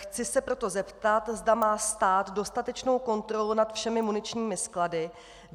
Chci se proto zeptat, zda má stát dostatečnou kontrolu nad všemi muničními sklady.